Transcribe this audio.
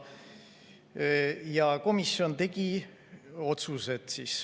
Ja komisjon tegi otsused.